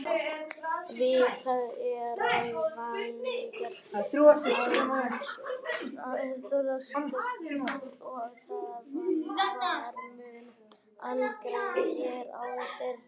Vitað er að vannæring hamlar vitsmunaþroska og að vannæring var mun algengari hér áður fyrr.